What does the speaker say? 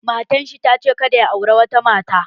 Matan shi ta ce kada ya auri wata mata